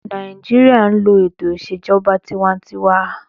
Nàìjíríyà n lo ètò ìṣèjọba tinwatinwa